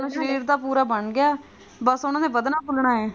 ਸ਼ਰੀਰ ਤਾਂ ਪੂਰਾ ਬਣ ਗਿਆ ਬਸ ਉਸ ਨੇ ਵੱਧਣਾ ਫੁਲਣਾ ਹੈ।